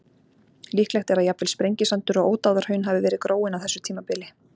Líklegt er að jafnvel Sprengisandur og Ódáðahraun hafi verið gróin á þessu tímabili.